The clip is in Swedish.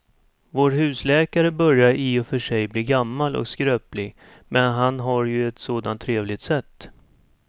Vår husläkare börjar i och för sig bli gammal och skröplig, men han har ju ett sådant trevligt sätt!